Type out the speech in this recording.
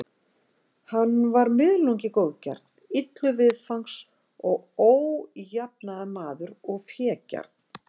Hann var miðlungi góðgjarn, illur viðfangs og ójafnaðarmaður og fégjarn.